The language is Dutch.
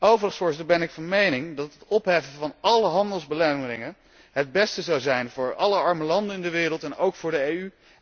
Overigens ben ik van mening dat het opheffen van álle handelsbelemmeringen het beste zou zijn voor alle arme landen in de wereld en ook voor de EU.